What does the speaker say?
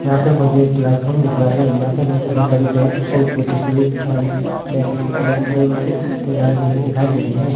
यहाँ पे मुझे एक क्लासरूम दिख रहा है यहाँ पे मुझे बहुत सारी बेंच और सिटिंग प्लेस आ बेंच दिखाई दे रही है।